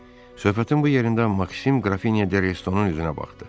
Söhbətin bu yerində Maksim Qrafinyo de Restonun üzünə baxdı.